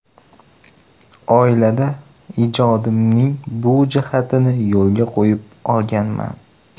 Oilada ijodimning bu jihatlarini yo‘lga qo‘yib olganman.